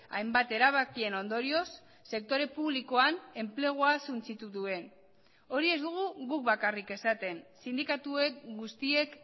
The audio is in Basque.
hainbat erabakien ondorioz sektore publikoan enplegua suntsitu duen hori ez dugu guk bakarrik esaten sindikatuek guztiek